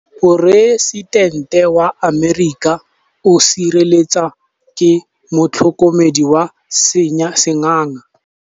Poresitêntê wa Amerika o sireletswa ke motlhokomedi wa sengaga.